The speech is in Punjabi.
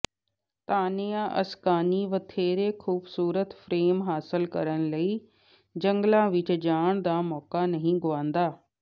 ਤਾਨੀਆ ਅਸਕਾਨੀ ਵਧੇਰੇ ਖੂਬਸੂਰਤ ਫਰੇਮ ਹਾਸਲ ਕਰਨ ਲਈ ਜੰਗਲਾਂ ਵਿਚ ਜਾਣ ਦਾ ਮੌਕਾ ਨਹੀਂ ਗੁਆਉਂਦਾ